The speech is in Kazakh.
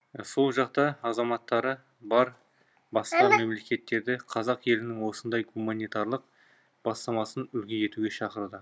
сол жақта азаматтары бар басқа мемлекеттерді қазақ елінің осындай гуманитарлық бастамасын үлгі етуге шақырды